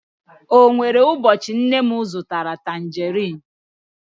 o nwere ụbọchị nne m zụtara tanjeriin